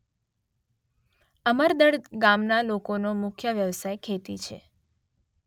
અમરદડ ગામના લોકોનો મુખ્ય વ્યવસાય ખેતી છે.